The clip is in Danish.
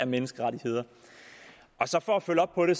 menneskerettigheder så for at følge op på det